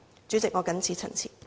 主席，我謹此陳辭。